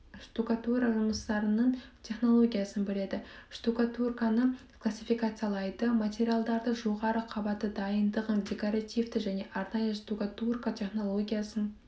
штукатура жұмыстарының технологиясын біледі штукатурканы классификациялайды материалдарды жоғары қабаты дайындығын декоративті және арнайы штукатурка технологиясын